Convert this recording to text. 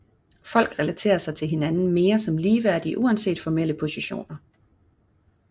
Folk relaterer sig til hinanden mere som ligeværdige uanset formelle positioner